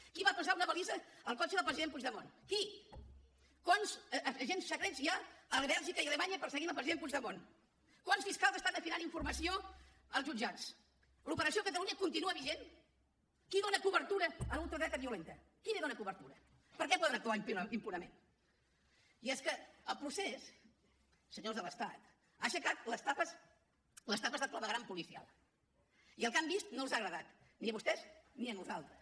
qui va posar una balisa al cotxe del president puigdemont qui quants agents secrets hi ha a bèlgica i a alemanya perseguint el president puigdemont quants fiscals estan afinant informació als jutjats l’operació catalunya continua vigent qui dona cobertura a la ultradreta violenta qui li dona cobertura per què poden actuar impunement i és que el procés senyors de l’estat ha aixecat les tapes del clavegueram policial i el que han vist no els agradat ni a vostès ni a nosaltres